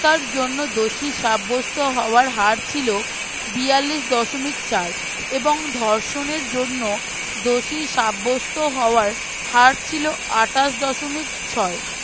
তার জন্য দোষী সাব্যস্ত হওয়ার হার ছিল বিয়াল্লিশ দশমিক চার এবং ধর্ষণের জন্য দোষী সাব্যস্ত হওয়ার হার ছিল আঠাশ দশমিক ছয়